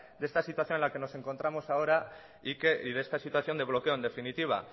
de esta situación en la que nos encontramos ahora y de esta situación de bloque en definitiva